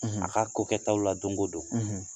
a ka kokɛtaw la donko don,